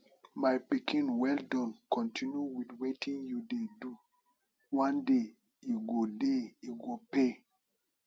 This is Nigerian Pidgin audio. my pikin well Accepted continue with wetin you dey do one day e go day e go pay